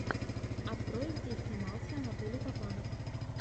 открой где снимался анатолий папанов